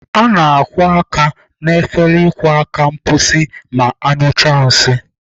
A na-akwọ aka n'efere ịkwọ aka mkposi ma anyụchaa nsị.